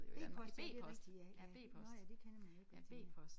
B-post ja det rigtigt ja ja nåh ja det kender man jo ikke noget til mere